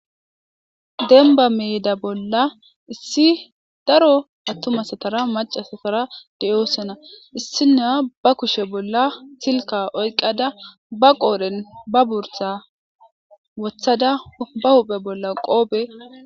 denba meeda bolla issi daro attumasatara macasatara de7oosana issina ba kushe bolla silka oyqada ba qoodhen ba bursa wothada ba huphe bolla qoobe